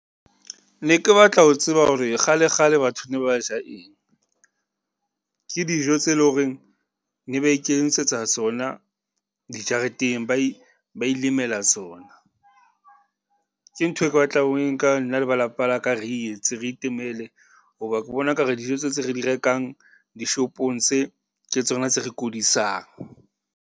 Ne ke batla ho tseba hore kgalekgale batho ne ba ja eng? Ke dijo tse leng horeng ne ba iketsetsa tsona dijareteng, ba ba ilemela tsona. Ke ntho eo ke batlang ho e nka nna le ba lapa laka re e etse, re itemele. Ho ba ke bona ekare dijo tseo tse re di rekang dishopong tse, ke tsona tse re kudisang.